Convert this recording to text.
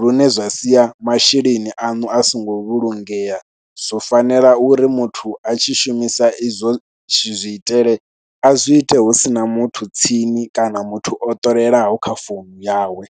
lune zwa sia masheleni aṋu a songo vhulungea. Zwo fanela uri muthu a tshi shumisa izwo zwiitele, a zwi ite hu si na muthu tsini kana muthu o ṱolelaho kha founu yawe.